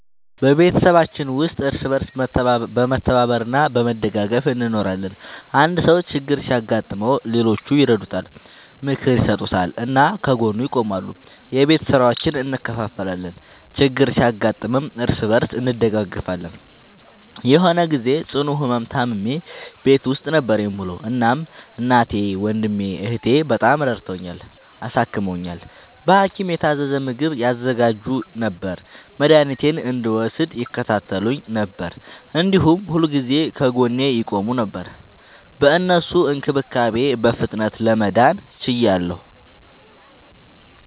በቤተሰባችን ውስጥ እርስ በርስ በመተባበር እና በመደጋገፍ እንኖራለን። አንድ ሰው ችግር ሲያጋጥመው ሌሎቹ ይረዱታል፣ ምክር ይሰጡታል እና ከጎኑ ይቆማሉ። የቤት ስራዎችን እንከፋፈላለን፣ ችግር ሲያጋጥምም እርስ በርስ እንደጋገፋለን። የሆነ ግዜ ጽኑ ህመም ታምሜ ቤት ውስጥ ነበር የምዉለዉ። እናም እናቴ፣ ወንድሜ፣ እህቴ፣ በጣም ረድተዉኛል፣ አሳክመዉኛል። በሀኪም የታዘዘ ምግብ ያዘጋጁ ነበር፣ መድኃኒቴን እንድወስድ ይከታተሉኝ ነበር፣ እንዲሁም ሁልጊዜ ከጎኔ ይቆሙ ነበር። በእነሱ እንክብካቤ በፍጥነት ለመዳን ችያለሁ።